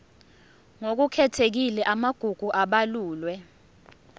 ngokukhethekile amagugu abalulwe